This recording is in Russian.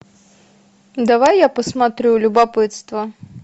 давай я посмотрю любопытство